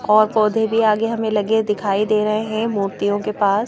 और पौधे भी आगे हमें लगे दिखाई दे रहे हैं मूर्तियों के पास--